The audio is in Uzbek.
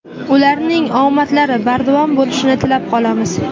Ularning omadlari bardavom bo‘lishini tilab qolamiz.